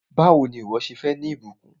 Báwò ni ìwọ́ ṣe fẹ́ ní ìbùkún?